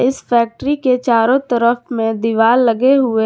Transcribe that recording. इस फैक्ट्री के चारों तरफ में दीवार लगे हुए।